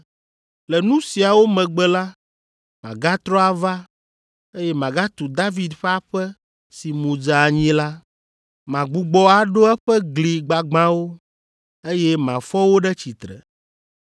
“ ‘Le nu siawo megbe la, magatrɔ ava, eye magatu David ƒe aƒe si mu dze anyi la. Magbugbɔ aɖo eƒe gli gbagbãwo, eye mafɔ wo ɖe tsitre,